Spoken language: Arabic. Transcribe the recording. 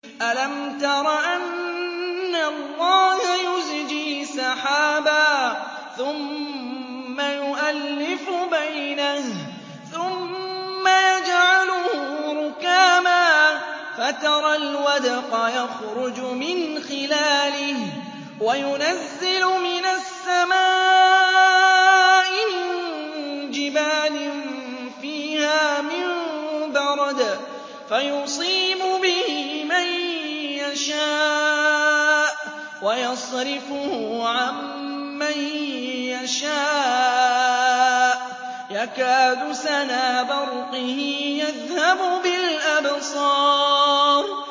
أَلَمْ تَرَ أَنَّ اللَّهَ يُزْجِي سَحَابًا ثُمَّ يُؤَلِّفُ بَيْنَهُ ثُمَّ يَجْعَلُهُ رُكَامًا فَتَرَى الْوَدْقَ يَخْرُجُ مِنْ خِلَالِهِ وَيُنَزِّلُ مِنَ السَّمَاءِ مِن جِبَالٍ فِيهَا مِن بَرَدٍ فَيُصِيبُ بِهِ مَن يَشَاءُ وَيَصْرِفُهُ عَن مَّن يَشَاءُ ۖ يَكَادُ سَنَا بَرْقِهِ يَذْهَبُ بِالْأَبْصَارِ